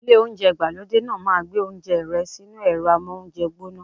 Ilé oúnjẹ ìgbàlódé náà ma gbé oúnjẹ rẹ sínú ẹ̀rọ́ amóúnjẹ gbóná.